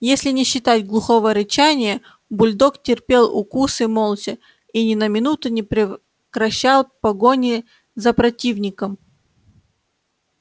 если не считать глухого рычания бульдог терпел укусы молча и ни на минуту не прекращал погони за противником